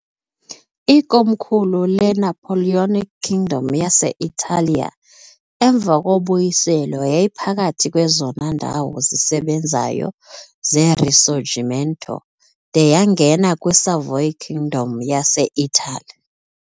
Ikomkhulu leNapoleonic Kingdom yase-Italiya, emva koBuyiselo yayiphakathi kwezona ndawo zisebenzayo zeRisorgimento, de yangena kwi-Savoy Kingdom yase-Itali .